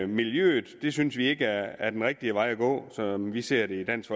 miljøet synes vi ikke er den rigtige vej at gå som vi ser det i dansk